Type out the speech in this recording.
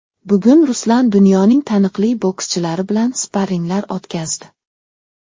Bugun Ruslan dunyoning taniqli bokschilari bilan sparringlar o‘tkazdi.